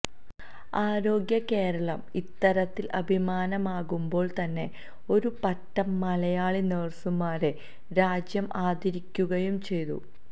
ആരോഗ്യ കേരളം ഇത്തരത്തില് അഭിമാനമാകുമ്പോള് തന്നെ ഒരു പറ്റം മലയാളി നഴസുമാരരെ രാജ്യം ആദരിക്കുകയും ചെയ്തു